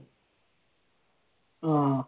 ങ്ഹാ